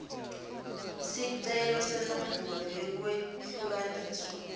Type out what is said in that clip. sicelo senombolo yekwehlukaniswa